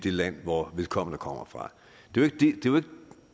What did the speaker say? land hvor vedkommende kommer fra